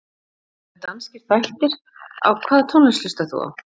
Það eru danskir þættir Hvaða tónlist hlustar þú á?